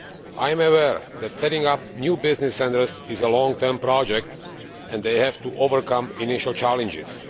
I am aware that setting up new business centres is a long term project and that they have to overcome initial challenges.